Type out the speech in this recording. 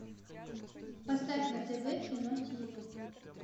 поставь на тв кино ти ви